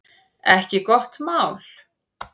Ekki gott mál